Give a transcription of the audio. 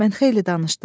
Mən xeyli danışdım.